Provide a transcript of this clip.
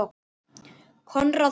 Konráð Hall.